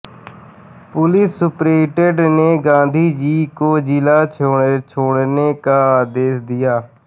police superintendent ने गांधीजी को जिला छोड़ने का आदेश दिया